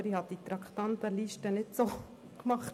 Aber ich habe die Traktandenliste nicht selber gemacht.